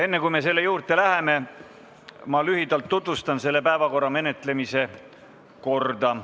Enne kui me selle juurde läheme, ma tutvustan lühidalt menetluskorda.